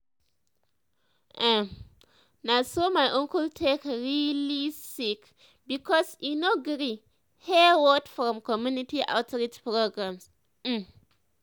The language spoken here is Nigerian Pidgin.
erm na so my uncle take really sick because e no gree hear word from community outreach programs. um